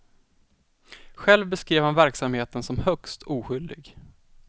Själv beskrev han verksamheten som högst oskyldig.